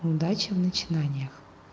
удачи в начинаниях